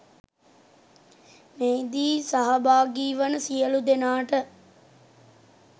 මෙහිදී සහභාගිවන සියලු දෙනාට